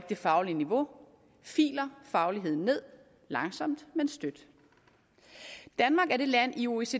det faglige niveau filer fagligheden ned langsomt men støt danmark er det land i oecd